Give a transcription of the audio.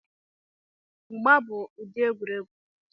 Mgba mgba bụ ụdị egwuregwu